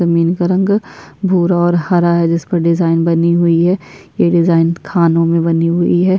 जमीन का रंग भूरा और हरा है जिस पर डिजाइन बनी हुई है ये डिजाइन खानों में बनी हुई है।